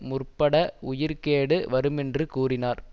முற்பட உயிர்க்கேடு வருமென்று கூறினார்